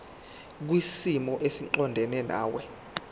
kwisimo esiqondena nawe